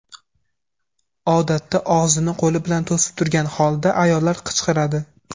Odatda, og‘zini qo‘li bilan to‘sib turgan holda ayollar qichqiradi.